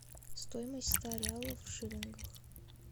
стоимость ста реалов в шиллингах